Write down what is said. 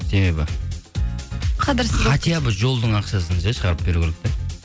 себебі жолдың ақшасын ше шығарып беру керек те